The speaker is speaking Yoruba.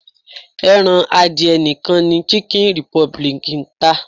Ẹran adìyẹ nìkan ni Chicken Republic ń tà.